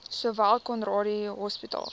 sowel conradie hospitaal